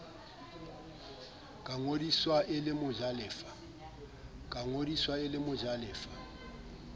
ka ngodiswa e le mojalefa